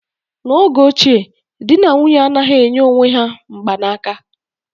N'oge ochie, di na nwunye anaghị enye onwe ha mgbanaka